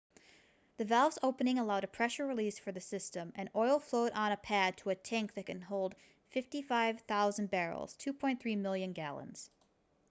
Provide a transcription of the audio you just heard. the valves opening allowed a pressure release for the system and oil flowed on a pad to a tank that can hold 55,000 barrels 2.3 million gallons